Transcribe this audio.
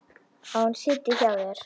Að hún sitji hjá þér?